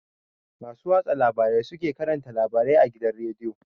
Masu watsa labarai su ke karanta labarai a gidan rediyo